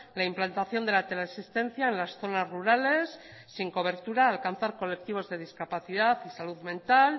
la implantación de la teleasistencia en las zonas rurales sin cobertura alcanzar colectivos de discapacidad y salud mental